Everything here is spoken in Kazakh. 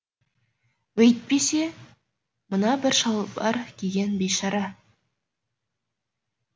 өйтпесе мына бір шалбар киген бейшара